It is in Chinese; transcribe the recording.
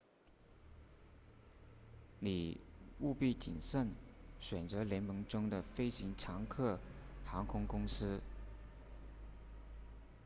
你务必谨慎选择联盟中的飞行常客航空公司